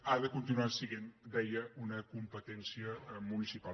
ha de continuar essent deia una competència municipal